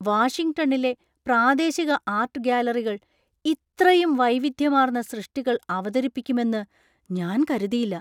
വാഷിംഗ്ടണിലെ പ്രാദേശിക ആർട്ട് ഗാലറികൾ ഇത്രയും വൈവിധ്യമാർന്ന സൃഷ്ടികൾ അവതരിപ്പിക്കുമെന്ന് ഞാൻ കരുതിയില്ല.